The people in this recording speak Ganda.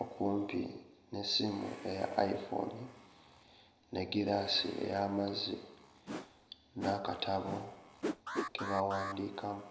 okumpi n'essimu eya iPhone n'eggiraasi ey'amazzi n'akatabo ke bawandiikamu.